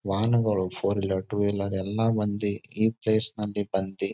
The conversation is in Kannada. ವಾಹನಗಳು ಫೋರ್ ವೀಲರ್ ಟೂ ವೀಲರ್ ಎಲ್ಲಾ ಬಂದಿ ಈ ಪ್ಲೇಸ್ ನಲ್ಲಿ ಬಂದಿ.